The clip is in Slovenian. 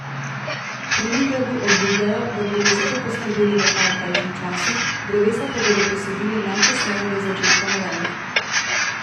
Pri Nigradu obljubljajo, da bodo za to poskrbeli v najkrajšem času, drevesa pa bodo posadili najkasneje do začetka novembra.